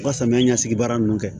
U ka samiya ɲɛsigi baara nunnu kɛ